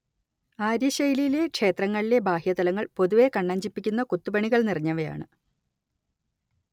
ആര്യശൈലിയിലെ ക്ഷേത്രങ്ങളിലെ ബാഹ്യതലങ്ങൾ പൊതുവെ കണ്ണഞ്ചിപ്പിക്കുന്ന കൊത്തുപണികൾ നിറഞ്ഞവയാണ്